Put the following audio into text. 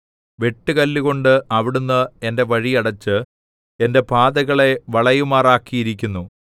വെട്ടുകല്ലുകൊണ്ട് അവിടുന്ന് എന്റെ വഴി അടച്ച് എന്റെ പാതകളെ വളയുമാറാക്കിയിരിക്കുന്നു